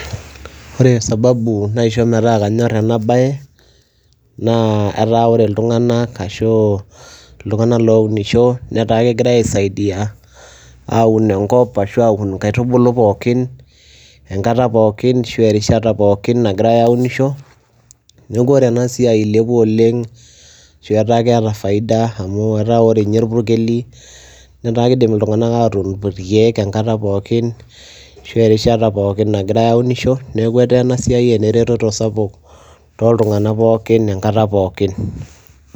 ore sababu naisho metaa kanyor ena bae, etaa ore iltunganak ousnisho netaa kegirae aisaidia aun enkop ashu aun inkaitubulu pookin, enkata pookin ashu erishta pookin. nagirae aunisho. neeku ore ena siai eilepua oleng ashu etaa keeta faida ashu ore ninye irpukeli netaa kidim iltunganak atuun irkeek enkata pookin ashu erishata pookin nagirae aunisho, neeku etaa ena siai eneretoto sapuk tooltungank pookin enkata pookin.